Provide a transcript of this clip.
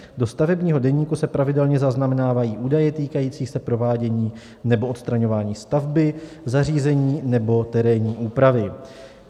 Do stavebního deníku se pravidelně zaznamenávají údaje týkající se provádění nebo odstraňování stavby, zařízení nebo terénní úpravy.